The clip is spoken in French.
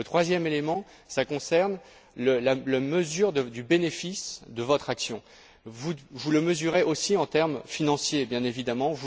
Le troisième élément concerne la mesure du bénéfice de votre action. Vous le mesurez aussi en termes financiers, bien évidemment.